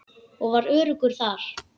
Ég var öruggur þar.